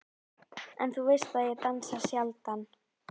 En þú veist að ég dansa sjaldan.